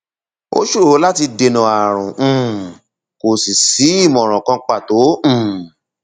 ó ṣòro láti dènà ààrùn um kò sì sí ìmọràn kan pàtó um